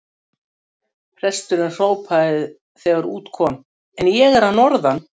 Presturinn hrópaði þegar út kom:-En ég er að norðan!